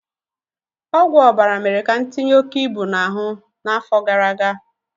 Ọgwụ ọbara mere ka m tinye oke ibu n'ahụ n'afọ gara aga